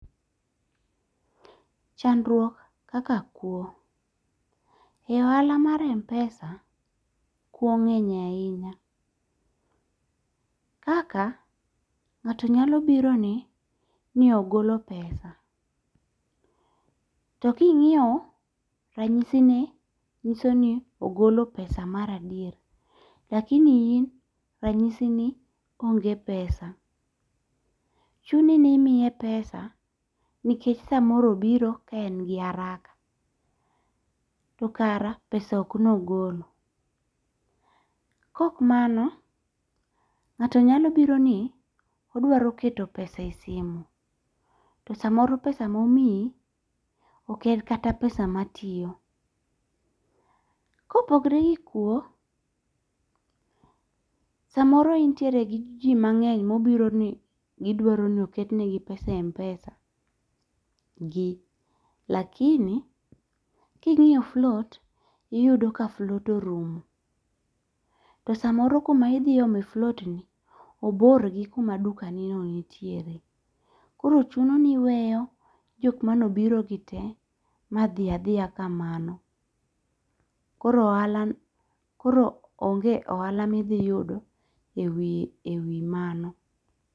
Chandruok kaka kuo: E ohala mar Mpesa kuo ng'enye ahinya. Kaka ng'ato nyalo biro ni ni ogolo pesa. To king'iyo ranyisi ni nyiso ni ogolo pesa mar adier. Lakini in ranyisi ni onge pesa. Chuni ni imiye pesa nikech samoro obiro ka en gi haraka to kara pesa ok nogolo. Kok mano ng'ato nyalo biro ni odwaro keto pesa e simu. To samoro pesa momiyi ek en kata pesa matiyo. Kopogre gi kuo, samoro intiere gi ji mang'eny mobiro ni gidwaro ni oket ne gi pesa e Mpesa lakini king'iyo float tiyudo ka float orumo. Tosamoro kuma idhi ome float ni obor gi kuma duka ni nonitiere. Koro chuno ni iweyo jok mane obiro gi te ma dhi adhiya kamano. Koro ohala onge ohala midhi yudo e wi mano.